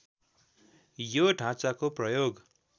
यो ढाँचाको प्रयोग